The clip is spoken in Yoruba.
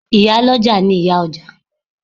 Ìyá lọ́jà ni ìyá ọjà.